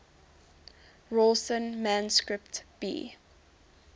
rawlinson manuscript b